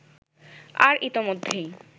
আর ইতোমধ্যেই